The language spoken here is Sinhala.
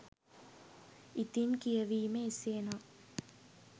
ඉතින් කියවීම එසේ නම්